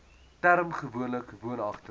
term gewoonlik woonagtig